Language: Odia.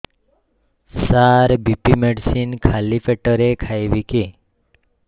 ସାର ବି.ପି ମେଡିସିନ ଖାଲି ପେଟରେ ଖାଇବି କି